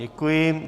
Děkuji.